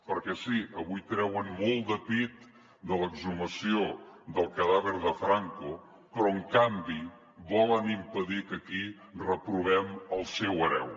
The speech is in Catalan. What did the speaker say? perquè sí avui treuen molt de pit de l’exhumació del cadàver de franco però en canvi volen impedir que aquí reprovem el seu hereu